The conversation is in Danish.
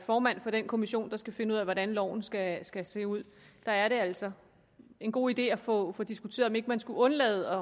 formand for den kommission der skal finde ud af hvordan loven skal skal se ud da er det altså en god idé at få få diskuteret om ikke man skulle undlade